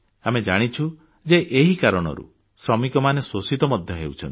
ଆମେ ଜାଣିଛୁ ଯେ ଏହି କାରଣରୁ ଶ୍ରମିକମାନେ ଶୋଷିତ ମଧ୍ୟ ହେଉଛନ୍ତି